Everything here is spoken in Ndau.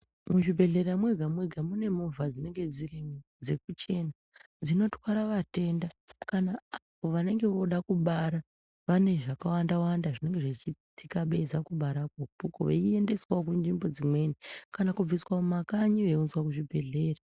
Muzvibhedhlera mwega mwega mune movha dzinenge dzirimo dzinotwara atenda vanenge voda kubara vane zvakawanda zvinenge zvichiitika veiedza kubara ko ikoko veiendeswa kunzvimbo dzimweni kana kubviswa kumakanyi veiunzwa kuzvibhedhlera.